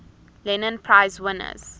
lenin prize winners